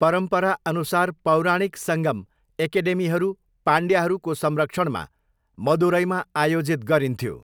परम्पराअनुसार, पौराणिक सङ्गम, 'एकेडेमीहरू' पाण्ड्यहरूको संरक्षणमा मदुरैमा आयोजित गरिन्थ्यो।